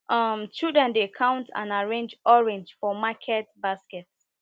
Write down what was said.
um children dey count and arrange orange for market basket